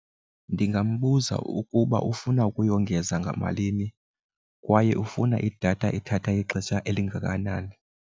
Ndingambuza ukuba ufuna ukuyongeza ngamalini kwaye ufuna idatha ethatha ixesha elingakanani.